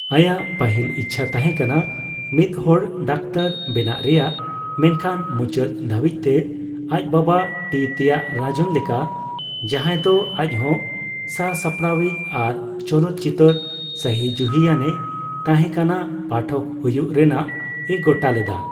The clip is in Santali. ᱟᱭᱟᱜ ᱯᱟᱹᱦᱤᱞ ᱤᱪᱪᱷᱟᱹ ᱛᱟᱦᱮᱸ ᱠᱟᱱᱟ ᱢᱤᱫᱦᱚᱲ ᱰᱟᱠᱛᱟᱨ ᱵᱮᱱᱟᱜ ᱨᱮᱭᱟᱜ, ᱢᱮᱱᱠᱷᱟᱱ ᱢᱩᱪᱟᱹᱫ ᱫᱷᱟᱹᱵᱤᱡᱛᱮ ᱟᱡ ᱵᱟᱵᱟ ᱴᱤ ᱛᱮᱭᱟᱜᱨᱟᱡᱚᱱ ᱞᱮᱠᱟ, ᱡᱟᱦᱟᱸᱭ ᱫᱚ ᱟᱡᱦᱚᱸ ᱥᱟᱥᱟᱯᱲᱟᱣᱤᱡ ᱟᱨ ᱪᱚᱞᱚᱛᱪᱤᱛᱟᱹᱨ ᱥᱟᱹᱦᱤᱡᱩᱦᱤᱭᱟᱱᱮ ᱛᱟᱸᱦᱮᱠᱟᱱᱟ, ᱯᱟᱴᱷᱚᱠ ᱦᱩᱭᱩᱜ ᱨᱮᱱᱟᱜ ᱮ ᱜᱚᱴᱟ ᱞᱮᱫᱟ ᱾